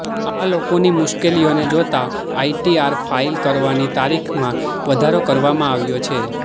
આ લોકોની મુશ્કેલીઓને જોતાં આઇટીઆર ફાઇલ કરવાની તારીખમાં વધારો કરવામાં આવ્યો છે